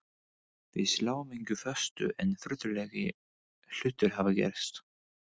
Við sláum engu föstu en furðulegri hlutir hafa gerst.